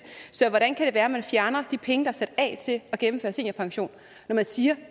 så hvordan kan det være at man fjerner de penge der er sat af til at gennemføre seniorpension når man siger